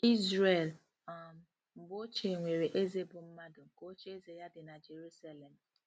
Izrel um mgbe ochie nwere eze bụ́ mmadụ nke ocheeze ya dị na Jeruselem.